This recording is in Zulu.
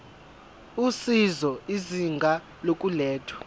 usizo izinga lokulethwa